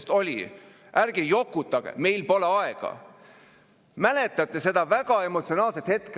Seda tõesti ei tee mitte keegi teine ära ja sellega ei ole aega meil ei jokutada ega loota, et see kuskilt kellegi teise arvel saab tehtud.